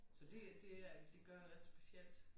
Så det det er det gør ret specielt